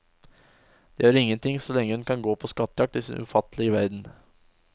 Det gjør ingenting så lenge hun kan gå på skattejakt i sin ufattelige verden.